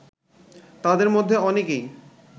তাদের মধ্যে অনেকেই